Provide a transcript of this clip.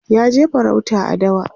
ya je farauta a dawa